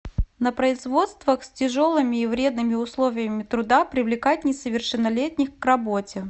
на производствах с тяжелыми и вредными условиями труда привлекать несовершеннолетних к работе